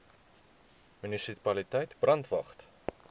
munisipaliteit brandwatch